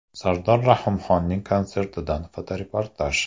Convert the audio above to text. Sardor Rahimxonning konsertidan fotoreportaj.